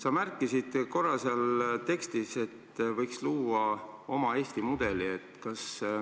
Sa märkisid seal korra, et võiks luua Eesti oma mudeli.